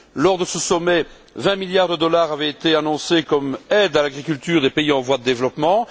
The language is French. Lors de ce sommet, 20 milliards de dollars avaient été annoncés pour aider l'agriculture des pays en voie de développement.